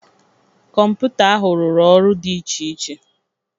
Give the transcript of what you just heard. Kọmputa ahụ rụrụ ọrụ dị iche iche.